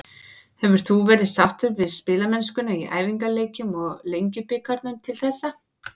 Hefur þú verið sáttur við spilamennskuna í æfingaleikjum og Lengjubikarnum til þessa?